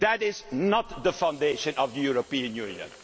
That is not the foundation of the European Union.